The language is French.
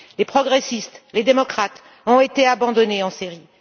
Les progressistes et les démocrates ont été abandonnés en Syrie.